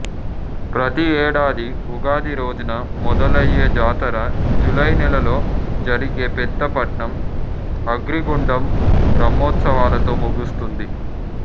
ప్రతి ఏడాది ఉగాది రోజున మొదలయ్యే జాతర జూలై నెలలో జరిగే పెద్దపట్నం అగ్రిగుండం బ్రహ్మోత్సవాలతో ముగుస్తుంది